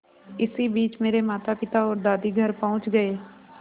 इसी बीच मेरे मातापिता और दादी घर पहुँच गए